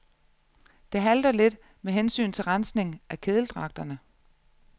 Det halter lidt med hensyn til rensning af kedeldragterne.